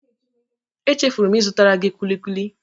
Echefuru m ịzụtara gị kulikuli.